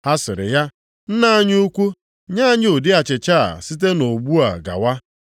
Ha sịrị ya, “Nna anyị ukwu, nye anyị ụdị achịcha a site ugbu a gawa.”